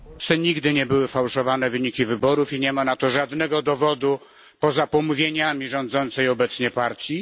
nigdy nie były sfałszowane wyniki wyborów i nie ma na to żadnego dowodu poza pomówieniami rządzącej obecnie partii.